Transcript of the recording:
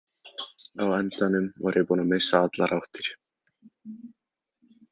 Á endanum var ég búinn að missa allar áttir.